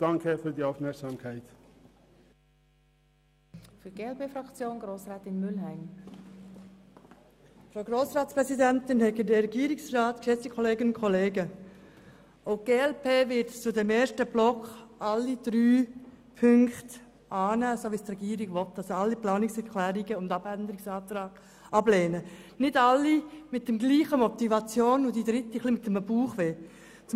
Die glp wird zu diesem ersten Block alle Punkte annehmen, wie es die Regierung will, das heisst sie wird alle Planungserklärungen und Abänderungsanträge ablehnen, wenn auch nicht alle mit der gleichen Motivation und die dritte mit etwas Bauchschmerzen.